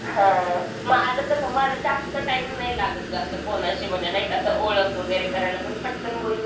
हां माझं कसं माझं जास्त टाइम नाही लागत असं कोणाशी म्हणजे नाही का ओळख वगैरे करायला मी पटकन बोलून